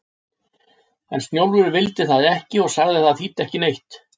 En Snjólfur vildi það ekki og sagði að það þýddi ekki neitt.